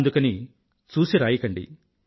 అందుకని చూసిరాయకండి